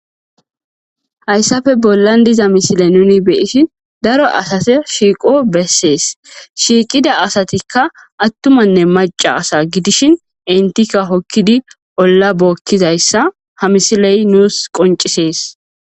Hayispe bolan diza missilen nuni beishen daro asata shiqo beses shiqida asatika atummane maca asa gidishin entika hokidi hola bokizayisa ha missile nus qoncises.